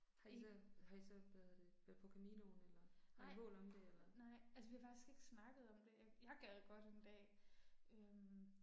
Men. Nej, nej, altså vi har faktisk ikke snakket om det, jeg gad godt en dag øh